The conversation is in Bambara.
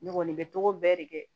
Ne kɔni bɛ togo bɛɛ de kɛ